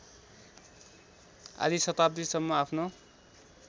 आधी शताब्दीसम्म आफ्नो